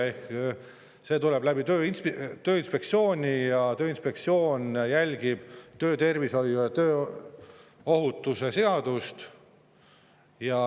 Tööinspektsioon ja Tööinspektsioon järgib töötervishoiu ja tööohutuse seadust.